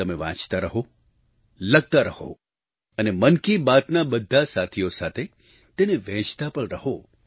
તમે વાંચતા રહો લખતા રહો અને મન કી બાતના બધા સાથીઓ સાથે તેને વહેંચતા પણ રહો